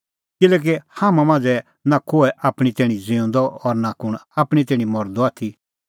किल्हैकि हाम्हां मांझ़ै नां कोहै आपणीं तैणीं ज़िऊंदअ और नां कुंण आपणीं तैणीं मरदअ आथी